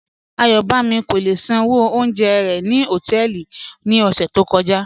Ayọ̀bámi kò lè ṣánwó fún ọ̀unjẹ̀ rẹ̀ ni họtẹẹlì ni ọṣẹ̀ tó kọja